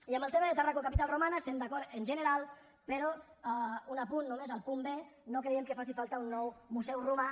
i amb el tema de tàrraco capital romana hi estem d’acord en general però un apunt només al punt b no creiem que faci falta un nou museu romà